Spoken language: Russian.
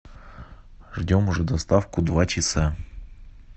ждем уже доставку два часа